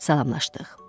Salamlaşdıq.